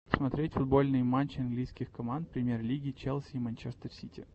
смотреть футбольные матчи английских команд премьер лиги челси и манчестер сити